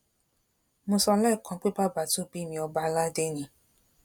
mo sọ lẹẹkan pé bàbá tó bí mi ọba aládé ni